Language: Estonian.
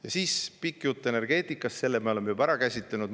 Ja siis oli pikk jutt energeetikast – selle me oleme juba ära käsitlenud.